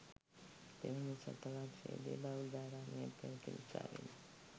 දෙවන ශතවර්ශයේදි බෞද්ධාරාමයක් පැවති නිසාවෙනි.